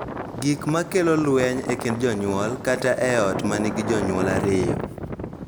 Gik ma kelo lweny e kind jonyuol, kata e ot ma nigi jonyuol ariyo,